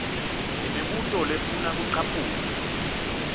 imibuto lefuna kucaphuna